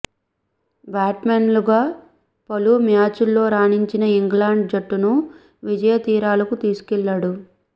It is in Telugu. బాట్స్మెన్గా పలు మ్యాచుల్లో రాణించి ఇంగ్లండ్ జట్టును విజయ తీరాలకు తీసుకువెళ్లాడు